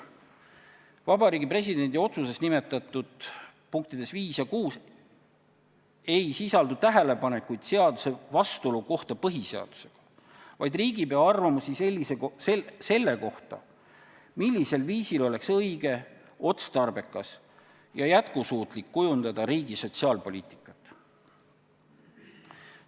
Vabariigi Presidendi otsuse punktides 5 ja 6 ei sisaldu tähelepanekuid seaduse vastuolu kohta põhiseadusega, vaid neis on riigipea arvamused selle kohta, millisel viisil oleks õige, otstarbekas ja jätkusuutlik kujundada riigi sotsiaalpoliitikat.